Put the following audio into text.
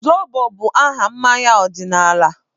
Zobo bụ aha mmanya ọdịnala.